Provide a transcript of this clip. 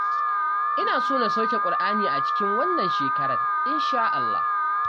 Ina so na sauke Ƙur'ani a cikin wannan shekarar insha'Allah.